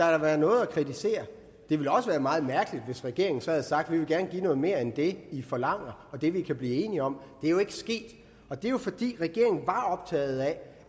have været noget at kritisere det ville også være meget mærkeligt hvis regeringen så havde sagt vi vil gerne give noget mere end det i forlanger og det vi kan blive enige om det er jo ikke sket og det er jo fordi regeringen var optaget af